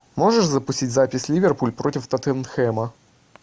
можешь запустить запись ливерпуль против тоттенхэма